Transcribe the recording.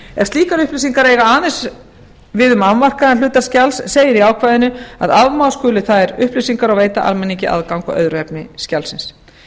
ef slíkar upplýsingar eiga aðeins við um afmarkaðan hluta skjals segir í ákvæðinu að afmá skuli þær upplýsingar og veita almenningi aðgang að öðru efni skjalsins